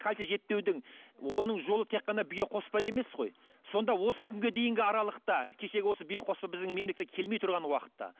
кальций жетпеудің оның жолы тек қана биоқоспа емес қой сонда осы күнге дейінгі аралықта кешегі осы биоқоспа біздің мемлекетке келмей тұрған уақытта